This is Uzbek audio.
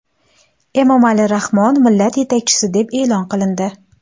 Emomali Rahmon Millat yetakchisi deb e’lon qilindi.